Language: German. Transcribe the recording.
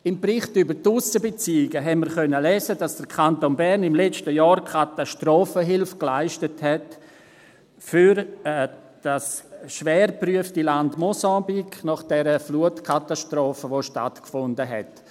– Im Bericht über die Aussenbeziehungen haben wir lesen können, dass der Kanton Bern im letzten Jahr nach der Flutkatastrophe Katastrophenhilfe für das schwer geprüfte Land Mosambik geleistet hat.